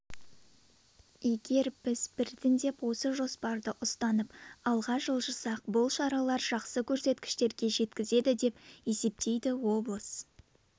егер біз біртіндеп осы жоспарды ұстанып алға жылжысақ бұл шаралар жақсы көрсеткіштерге жеткізеді деп есептейді облыс